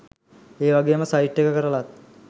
ඒවගේම සයිට් එක කරලත්